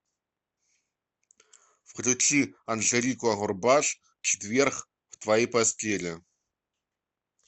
включи анжелику агурбаш четверг в твоей постели